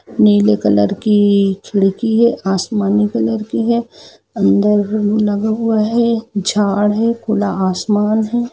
नीले कलर की खिड़की हैं आसमानी कलर की है अंदर लगा हुआ है झाड़ हैखुला आसमान है।